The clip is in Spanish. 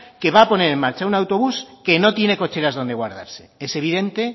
que va a poner en marcha un autobús que no tiene cocheras donde guardarse es evidente